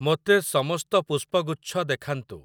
ମୋତେ ସମସ୍ତ ପୁଷ୍ପଗୁଚ୍ଛ ଦେଖାନ୍ତୁ ।